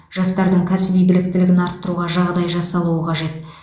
жастардың кәсіби біліктілігін арттыруға жағдай жасалуы қажет